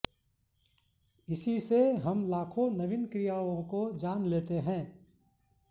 इसी से हम लाखों नवीन क्रियाओं को जान लेते हैं